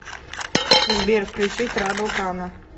сбер включи трабл кано